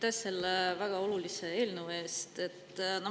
Aitäh selle väga olulise eelnõu eest!